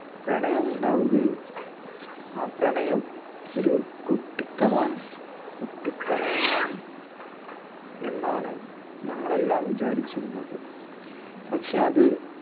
പ്രണയം ഉണ്ടാവുകയും ആ പ്രണയം ഒരു കുട്ടിത്തം ആണ് കുട്ടി പ്രണയമാണ് എന്നാണ് ഞങ്ങൾ എല്ലാം വിചാരിച്ചിരുന്നത്. പക്ഷേ അത്